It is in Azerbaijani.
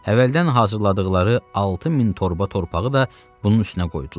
Əvvəldən hazırladıqları 6 min torba torpağı da bunun üstünə qoydular.